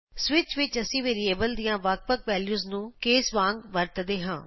switch ਵਿਚ ਅਸੀਂ variable ਦੀਆਂ ਵੱਖ ਵੱਖ ਵੈਲਯੂਸ ਨੂੰ ਕੇਸ ਵਾਂਗ ਵਰਤਦੇ ਹਾਂ